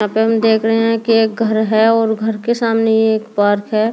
हम देख रहे हैं कि एक घर है और घर के सामने ये एक पार्क है।